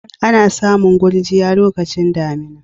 Ana samun gurjiya lokacin damina.